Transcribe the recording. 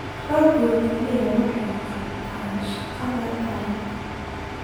Raggu kaliya waxay qabtaan shaqada taranka.